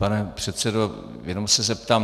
Pane předsedo, jenom se zeptám.